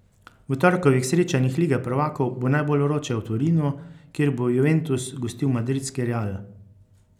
V torkovih srečanjih Lige prvakov bo najbolj vroče v Torinu, kjer bo Juventus gostil madridski Real.